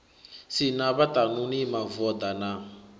si na vhaṱanuni mavoḓa na